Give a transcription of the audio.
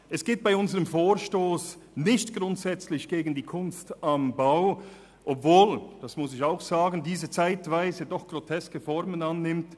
Es geht bei unserem Vorstoss nicht grundsätzlich gegen die Kunst am Bau, obwohl diese zeitweise groteske Formen annimmt.